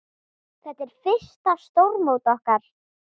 Þetta er fyrsta stórmót okkar.